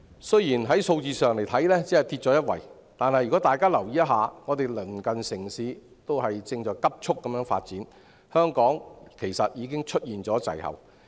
雖然數字上只是下跌一位，但如果大家留意一下，便知道鄰近城市正急速發展，香港其實已出現滯後。